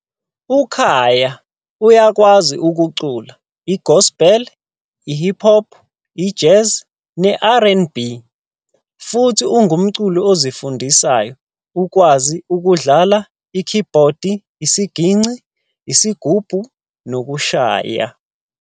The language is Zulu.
UKhaya uyakwazi ukucula i-gospel, i-pop, i-jazz ne-R and B, futhi ungumculi ozifundisayo okwazi ukudlala ikhibhodi, isiginci, isigubhu nokushaya.